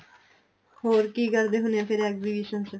ਹੋਰ ਕੀ ਕਰਦੇ ਹੁਣੇ ਆ exhibition ਚ